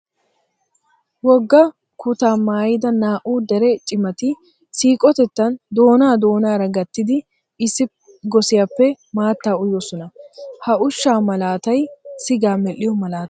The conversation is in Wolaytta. Wogga kutaa maayida naa"u dere cimati siiqotettan doonaa doonaara gattidi issi gosiyappe maattaa uyosona. Ha ushshaa malaatay sigaa medhdhiyo malaata.